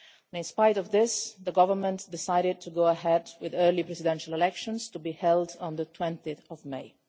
In spite of this, the Government decided to go ahead with early presidential elections, to be held on 20 May.